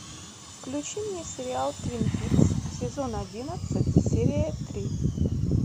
включи мне сериал твин пикс сезон одиннадцать серия три